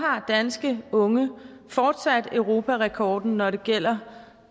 har danske unge fortsat europarekord når det gælder